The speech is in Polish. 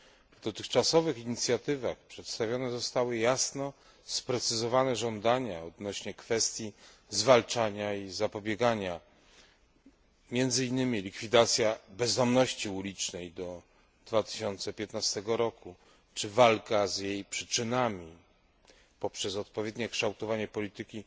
W dotychczasowych inicjatywach przedstawione zostały jasno sprecyzowane żądania odnośnie do kwestii zwalczania i zapobiegania, między innymi likwidacja bezdomności ulicznej do 2015 roku, czy walka z jej przyczynami poprzez odpowiednie kształtowanie polityki